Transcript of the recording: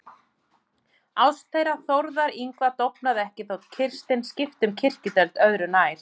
Ást þeirra Þórðar Yngva dofnaði ekki þó Kirsten skipti um kirkjudeild, öðru nær.